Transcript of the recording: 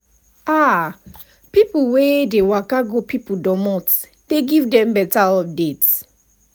you know say local outreach events dey give free checkups and screening sef.